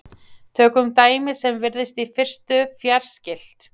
Tökum dæmi sem virðist í fyrstu fjarskylt.